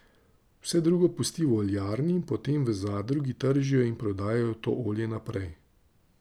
Vse drugo pusti v oljarni in potem v zadrugi tržijo in prodajajo to olje naprej.